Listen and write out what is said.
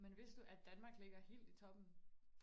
men vidste du at Danmark ligger helt i toppen